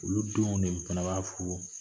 Olu denw de fana b'a furu